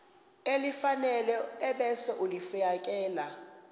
elifanele ebese ulifiakela